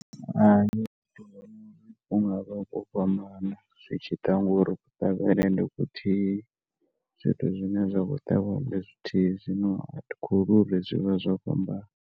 Hai, hungavha ho fhambana zwi tshiḓa khori kuṱavhele ndi kuthihi zwithu zwine zwa kho ṱavhiwa ndi zwithihi zwino a thikholwi uri zwi vha zwo fhambana.